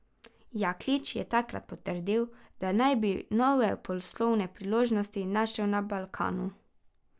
Jaklič je takrat potrdil, da naj bi nove poslovne priložnosti našel na Balkanu.